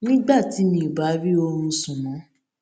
nígbà tí mi ò bá rí oorun sùn mó